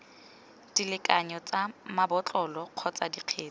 dilekanyo tsa mabotlolo kgotsa dikgetse